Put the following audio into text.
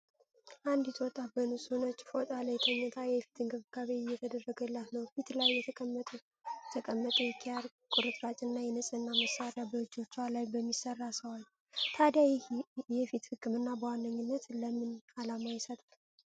አንዲት ወጣት በንጹህ ነጭ ፎጣ ላይ ተኝታ፣ የፊት እንክብካቤ እየተደረገላት ነው። ፊት ላይ የተቀመጠ የኪያር ቁርጥራጭና የንጽህና መሣሪያ በእጆቿ ላይ በሚሠራ ሰው አለ። ታዲያ ይህ የፊት ህክምና በዋናነት ለምን ዓላማ ይሰጣል?